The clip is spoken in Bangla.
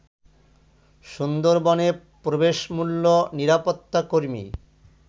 সুন্দরবনে প্রবেশ মূল্য, নিরাপত্তা কর্মী